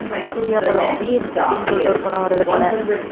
உம் சூர்யா படம் வீர் அப்படின்னு சொல்லிட்டு ஒரு படம் வருது போல